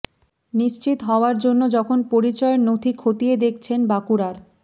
নিশ্চিত হওয়ার জন্য যখন পরিচয়ের নথি খতিয়ে দেখছেন বাঁকুড়ার